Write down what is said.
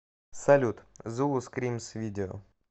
салют зулу скримс видео